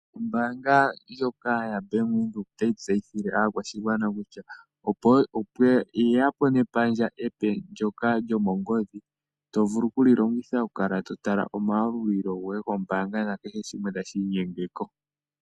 Ombanga ndjoka yaBank Windhoek otayi tseyithile aakwashigwana kutya opo yamono epandja epe lyomongodhi ndyoka to longitha okukala totala omayalulilo ngoye nenge kehe shimwe tashi inyenge ko.